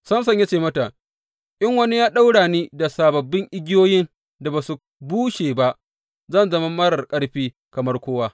Samson ya ce mata, In wani ya ɗaura ni da sababbin igiyoyin da ba su bushe ba, zan zama marar ƙarfi kamar kowa.